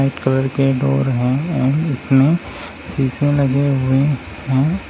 Colour के door हैं और इसमें शीशे लगे हुए हैं।